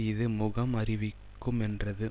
இது முகம் அறிவிக்குமென்றது